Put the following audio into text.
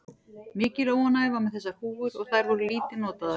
Mikil óánægja var með þessar húfur og þær voru lítið notaðar.